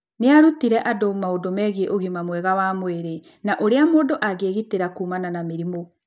Nĩ aarutire andũ maũndũ megiĩ ũgima mwega wa mwĩrĩ na ũrĩa mũndũ angĩĩgitĩra kuumana na mĩrimũ.